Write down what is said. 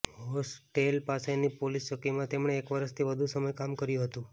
hostel પાસેની police ચોકીમાં તેમણે એક વર્ષથી વધુ સમય કામ કર્યું હતું